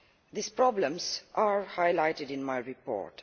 These problems are highlighted in my report.